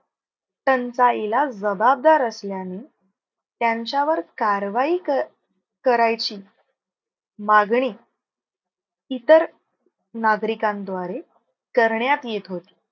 टंचाईला जबाबदार असल्याने त्यांच्यावर कारवाई क करायची मागणी इतर नागरिकांद्वारे करण्यात येत होती.